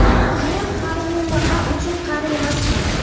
Men hali MMA uchun qari emasman.